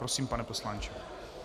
Prosím, pane poslanče.